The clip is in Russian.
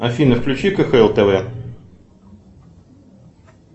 афина включи кхл тв